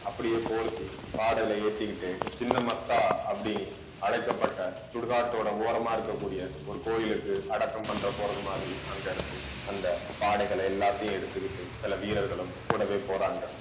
அப்படியே போர்த்தி பாடையில ஏத்திக்கிட்டு சின்ன மஸ்தா அப்படின்னு அழைக்கப்பட்ட சுடுகாட்டோட ஓரமா இருக்கக்கூடிய ஒரு கோயிலுக்கு அடக்கம் பண்ற போறது மாதிரி அங்க இருந்து அந்த பாடைகளை எல்லாத்தையும் எடுத்துக்கிட்டு சில வீரர்களும் கூடவே போறாங்க